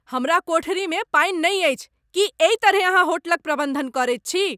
हमर कोठरीमे पानि नहि अछि। की एहि तरहेँ अहाँ होटलक प्रबंधन करैत छी?